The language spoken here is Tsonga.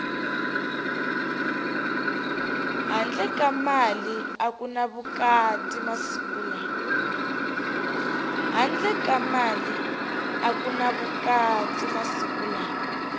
handle ka mali aku ni vukati masiku lawa